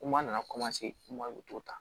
Kuma nana u t'o ta